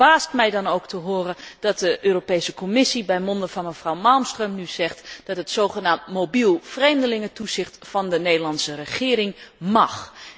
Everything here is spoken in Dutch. Het verbaast mij dan ook te horen dat de Europese Commissie bij monde van mevrouw Malmström nu zegt dat het zogenaamd mobiel vreemdelingentoezicht van de Nederlandse regering mag.